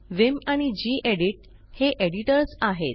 Vim आणि gedit हे editors आहेत